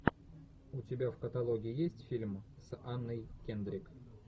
у тебя в каталоге есть фильм с анной кендрик